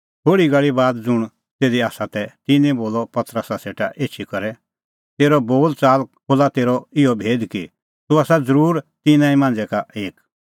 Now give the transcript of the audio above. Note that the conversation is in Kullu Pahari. थोल़ी घल़ी बाद ज़ुंण तिधी तै तिन्नैं बोलअ पतरसा सेटा एछी करै तेरअ बोल च़ाल खोल्हा तेरअ इहअ भेद कि तूह आसा ज़रूर तिन्नां ई मांझ़ै एक